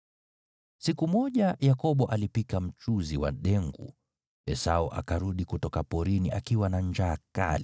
Siku moja Yakobo alipika mchuzi wa dengu, Esau akarudi kutoka porini akiwa na njaa kali.